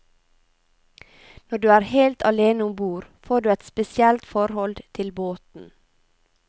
Når du er helt alene ombord, får du et spesielt forhold til båten.